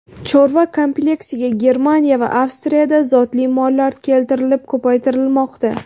Chorva kompleksiga Germaniya va Avstriyadan zotli mollar keltirilib, ko‘paytirilmoqda.